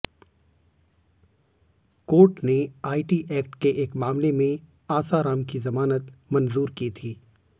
court ने IT act के एक मामले में आसाराम की जमानत मंजूर की थी